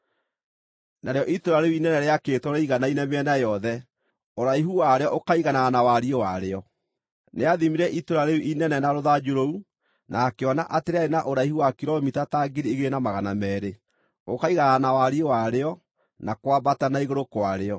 Narĩo itũũra rĩu inene rĩakĩtwo rĩiganaine mĩena yothe, ũraihu warĩo ũkaiganana na wariĩ warĩo. Nĩathimire itũũra rĩu inene na rũthanju rũu, na akĩona atĩ rĩarĩ na ũraihu wa kilomita ta 2,200, ũkaiganana na wariĩ warĩo, na kwambata na igũrũ kwarĩo.